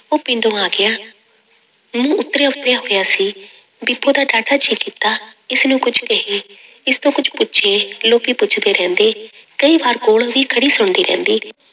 ਉਹ ਪਿੰਡੋਂ ਆ ਗਿਆ, ਮੂੰਹ ਉਤਰਿਆ ਉਤਰਿਆ ਹੋਇਆ ਸੀ, ਬੀਬੋ ਦਾ ਡਾਢਾ ਜੀਅ ਕੀਤਾ ਇਸਨੂੰ ਕੁੱਝ ਕਹੇ, ਇਸ ਤੋਂ ਕੁੱਝ ਪੁੱਛੇ ਲੋਕੀ, ਪੁੱਛਦੇ ਰਹਿੰਦੇ ਕਈ ਵਾਰੀ ਕੋਲ ਵੀ ਖੜੀ ਸੁਣਦੀ ਰਹਿੰਦੀ।